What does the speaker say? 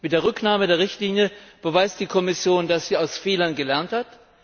Mit der Rücknahme der Richtlinie beweist die Kommission, dass sie aus Fehlern gelernt hat.